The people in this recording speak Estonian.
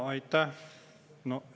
Aitäh!